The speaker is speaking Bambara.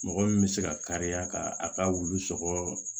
Mɔgɔ min bɛ se ka kariya ka a ka wulu sɔgɔ